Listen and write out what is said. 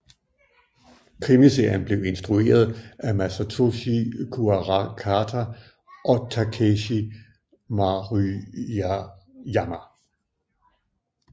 Krimiserien blev instrueret af Masatoshi Kuarakata og Takeshi Maruyama